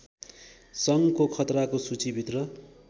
सङ्घको खतराको सूचीभित्र